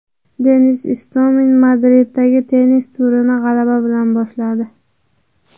Denis Istomin Madriddagi tennis turnirini g‘alaba bilan boshladi.